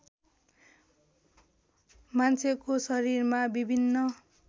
मान्छेको शरीरमा विभिन्न